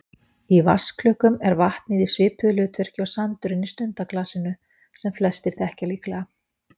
Í vatnsklukkum er vatnið í svipuðu hlutverki og sandurinn í stundaglasinu sem flestir þekkja líklega.